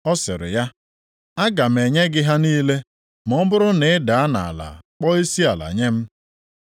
Ọ sịrị ya, “Aga m enye gị ha niile ma ọ bụrụ na ị daa nʼala kpọọ isiala nye m.”